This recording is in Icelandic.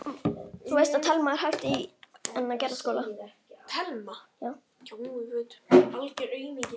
Þetta er ansi falleg mynd.